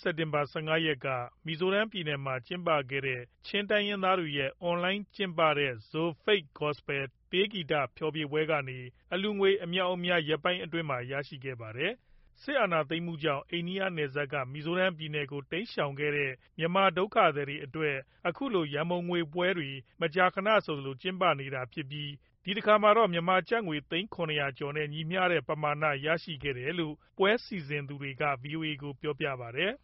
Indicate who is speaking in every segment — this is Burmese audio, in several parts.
Speaker 1: စက်တင်ဘာ ၁၅ ရက်က မီဇိုရမ်ပြည်နယ်မှာ ကျင်းပခဲ့တဲ့ ချင်းတိုင်းရင်းသားတွေရဲ့ အွန်လိုင်းကျင်းပတဲ့ ZOFATE GOSPEL တေးဂီတဖျော်ဖြေပွဲကနေ အလှူငွေ အမြောက်အများ ရက်ပိုင်းအတွင်းမှာ ရရှိခဲ့ပါတယ်။ စစ်အာဏာသိမ်းမှုကြောင့် အိန္ဒိယနယ်စပ်က မီဇိုရမ်ပြည်နယ်ကို တိမ်းရှောင်ခဲ့တဲ့ မြန်မာဒုက္ခသည်တွေအတွက် အခုလို ရံပုံငွေပွဲတွေ မကြာခဏဆိုသလို ကျင်းပနေတာဖြစ်ပြီး ဒီတခါမှာတော့ မြန်မာကျပ်ငွေ သိန်း ၇၀၀ ကျော်နဲ့ ညီမျှတဲ့ ပမာဏ ရရှိခဲ့တယ်လို့ ပွဲစီစဉ်သူတွေက ဗွီအိုအေကို ပြောပါတယ်။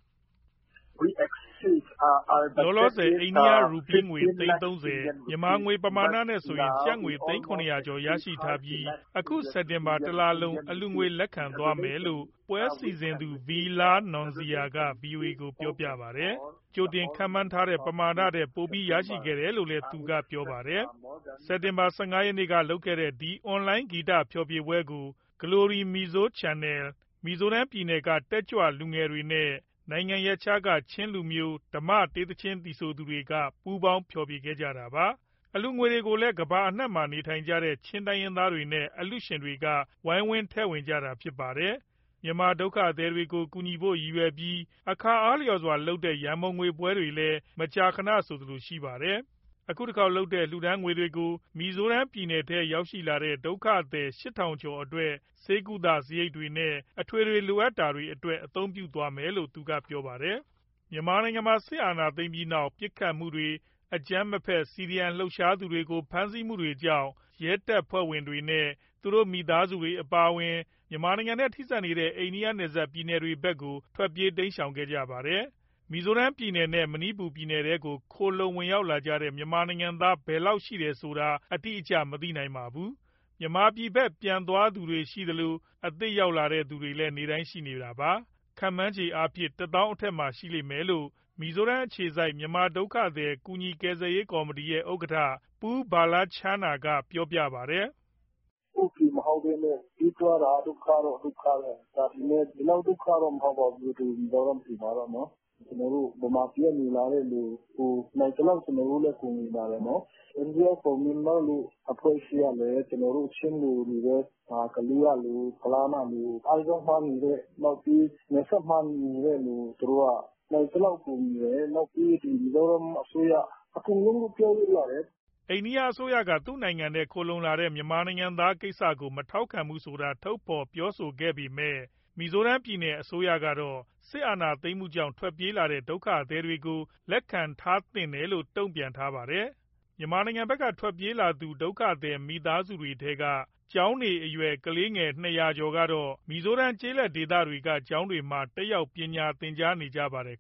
Speaker 2: လောလောဆယ် အိန္ဒိယရူးပီးငွေ သိန်း ၃
Speaker 1: ၀၊ မြန်မာငွေ ပမာဏနဲ့ဆိုရင် ကျပ်ငွေ သိန်း ၇၄၀ ကျော် ( ၇၄, ၀၀၀, ၀၀၀) ရထားပြီး အခု စက်တင်ဘာတလလုံး အလှူငွေလက်ခံသွားမယ်လို့ ပွဲစီစဉ်သူ V Lalnunzira က ဗွီအိုအေကို ပြောခဲ့တာပါ။ ကြိုတင်ခန့်မှန်းထားတဲ့ ပမာထက်ပိုပြီး ရခဲ့တယ်လို့လည်း သူကပြောပါတယ်။ စက်တင်ဘာ ၁၅ ရက်က လုပ်ခဲ့တဲ့ ဒီအွန်လိုင်း ဂီတဖျော်ဖြေပွဲကို Glory Mizo Channel ၊ မီဇိုရမ် ပြည်နယ်က တက်ကြွလူငယ်တွေနဲ့ နိုင်ငံရပ်ခြားက ချင်းလူမျိုး ဓမ္မတေးသီချင်းသီဆိုသူတွေက ပူးပေါင်း ဖျော်ဖြေခဲ့တာပါ။ အလှူငွေတွေကိုလည်း ကမ္ဘာ့နိုင်ငံအနှံ့မှာရှိကြတဲ့ ချင်းတိုင်းရင်းသားတွေနဲ့ အလှူရှင်တွေက ဝိုင်းဝန်းထည့်ဝင်ကြတာဖြစ်ပါတယ်။ မြန်မာဒုက္ခသည်တွေကို ကူညီဖို့ရည်ရွယ်ပြီး အခါအားလျှော်စွာလုပ်တဲ့ ရံပုံငွေပွဲတွေလည်း မကြာခဏဆိုသလို ရှိပါတယ်။ အခုတခေါက်လုပ်တဲ့ လှူဒါန်းငွေတွေကို မီဇိုရမ်ပြည်နယ်ထဲရောက်လာတဲ့ ဒုက္ခသည် ၈, ၀၀၀ ကျော်အတွက် ဆေးကုသစရိတ်တွေနဲ့ အထွေထွေလိုအပ်တာတွေအတွက် အသုံးပြုသွားမယ်လို့ သူကပြောပါတယ်။ မြန်မာနိုင်ငံမှာ စစ်အာဏာသိမ်းပြီးနောက် ပစ်ခတ်မှုတွေ၊ အကြမ်းမဖက် CDM လှုပ်ရှားသူတွေကို ဖမ်းဆီးမှုတွေကြောင့် ရဲတပ်ဖွဲ့ဝင်နဲ့သူတို့ မိသားစုတွေအပါအဝင် မြန်မာနိုင်ငံနဲ့ ထိဆက်နေတဲ့ အိန္ဒိယနယ်စပ်ပြည်နယ်တွေဘက်ကို ထွက်ပြေးတိမ်းရှောင်ခဲ့ကြပါတယ်။ မီဇိုရမ်ပြည်နယ်နဲ့ မဏိပူပြည်နယ်ထဲကို ခိုလှုံရောက်ရှိလာတဲ့ မြန်မာနိုင်ငံသား ဘယ်လောက်ရှိတယ်ဆိုတာ အတိအကျမသိနိုင်ပါဘူး။ မြန်မာပြည်ဘက် ပြန်သွားသူတွေရှိသလို အသစ်ရောက်လာတဲ့သူတွေလည်း နေ့တိုင်းရှိနေတာပါ။ ခန့်မှန်းခြေအားဖြင့်တော့ ၁၀, ၀၀၀ အထက်မှာ ရှိလိမ့်မယ်လို့ မီဇိုရမ်အခြေစိုက် မြန်မာဒုက္ခသည် ကူညီကယ်ဆယ်ရေး ကော်မတီရဲ့ ဥက္ကဋ္ဌ Pu Vanlalchhana က ပြောပါတယ်။
Speaker 2: “ ကိုယ့်ပြည်မဟုတ်ဘဲနဲ့ ပြေးရတာ ဒုက္ခတော့ ဒုက္ခပဲ။ ဒါပေမဲ့ ဒီလောက်ဒုက္ခတော့ မဟုတ်ပါဘူး၊ ဒီမီဇိုရမ်ပြည်မှာတော့။ ကျနော်တို့ ဗမာပြည်က လာတဲ့သူကို နိုင်သလောက် ကူညီပါတယ်။ India for Myanmar လို အဖွဲ့အစည်းကလည်း ကျနော်တို့ ချင်း၊ ကလေးကလူ၊ ဖလမ်းကလူ၊ အိုက်ဇောမှာနေတဲ့ နောက်ပြီး နယ်စပ်မှာနေတဲ့သူ သူတို့က နိုင်သလောက်ကူညီတယ်၊ နောက်ပြီး ဒီမီဇိုရမ်အစိုးရ၊ အကုန်လုံးလို့ ပြောလို့ရတယ်။
Speaker 1: ” အိန္ဒိယအစိုးရက သူ့နိုင်ငံထဲ ခိုလှုံရောက်လာတဲ့ မြန်မာနိုင်ငံသားတွေကိစ္စကို မထောက်ခံဘူးဆိုတာ ထုတ်ဖော်ပြောဆိုခဲ့ပေမဲ့ မီဇိုရမ်ပြည်နယ်အစိုးရတော့ စစ်အာဏာသိမ်းမှုကြောင့် ထွက်ပြေးလာတဲ့ ဒုက္ခသည်တွေကို လက်ခံထားသင့်တယ်လို့ တုံ့ပြန်ထားတာပါ။ မြန်မာနိုင်ငံဘက်က ထွက်ပြေးလာကြသူ ဒုက္ခသည်မိသားစုတွေထဲက ကျောင်းနေအရွယ် ၂၀၀ ကျော်ကတော့ မီဇိုရမ်ကျေးလက်ဒေသဘက်က ကျောင်းတွေမှာ တက်ရောက်ပညာသင်ကြားနေကြပါတယ်